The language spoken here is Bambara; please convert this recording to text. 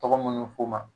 Tɔgɔ minnu fɔ ma